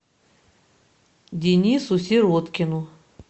денису сироткину